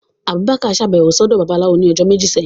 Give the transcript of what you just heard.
Abubakar ṣabẹwo sọdọ Babalawó ni ọjọ meji sẹhin.